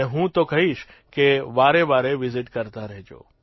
અને હું તો કહીશ કે વારેવારે વિઝિટ કરતા રહેજો